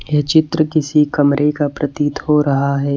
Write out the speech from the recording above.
ये चित्र किसी कमरे का प्रतीत हो रहा है।